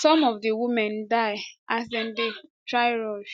some of di women die as dem dey try rush